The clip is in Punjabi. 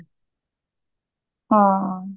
ਹਾਂ